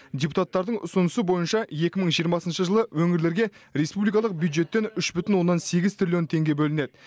депутаттардың ұсынысы бойынша екі мың жиырмасыншы жылы өңірлерге республикалық бюджеттен үш бүтін оннан сегіз триллион теңге бөлінеді